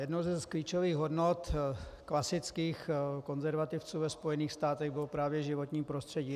Jednou z klíčových hodnot klasických konzervativců ve Spojených státech bylo právě životní prostředí.